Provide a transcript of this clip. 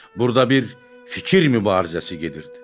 Burda bir fikir mübarizəsi gedirdi.